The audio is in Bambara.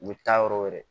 U bɛ taa yɔrɔ wɛrɛ